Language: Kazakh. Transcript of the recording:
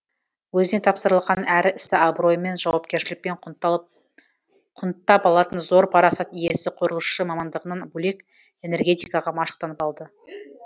өзіне тапсырылған әр істі абыроймен жауапкершілікпен құнттап алатын зор парасат иесі құрылысшы мамандығынан бөлек энергетикаға машықтанып алды